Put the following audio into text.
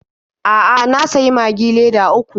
A'a, na sayi Magi leda uku.